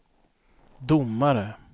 domare